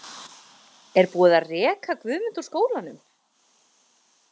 Er búið að reka Guðmund úr skólanum?